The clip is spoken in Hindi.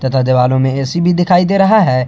तथा दीवालो में ए_सी भी दिखाई दे रहा है।